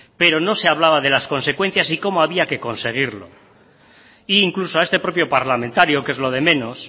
pero no se hablaba de las consecuencias y cómo había que conseguirlo e incluso a este propio parlamentario que es lo de menos